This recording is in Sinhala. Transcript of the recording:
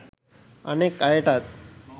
අනෙක් අයටත්